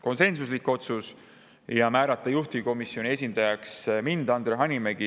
Ja määrata juhtivkomisjoni esindajaks mind, Andre Hanimägi.